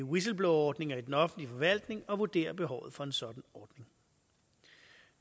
whistleblowerordninger i den offentlige forvaltning og vurdere behovet for en sådan ordning